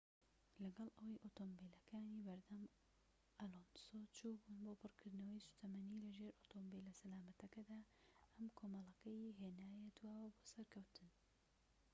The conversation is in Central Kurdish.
لەگەڵ ئەوەی ئۆتۆمبیلەکانی بەردەم ئەلۆنسۆ چووبوون بۆ پڕکردنەوەی سوتەمەنی لەژێر ئۆتۆمبیلە سەلامەتەکەدا ئەم کۆمەڵەکەی هێنایە دواوە بۆ سەرکەوتن